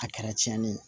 A kɛra tiɲɛni ye